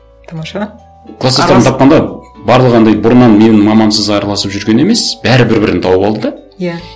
тамаша кластастарын тапқанда барлығы анандай бұрыннан менің мамамсыз араласып жүрген емес бәрі бір бірін тауып алды да иә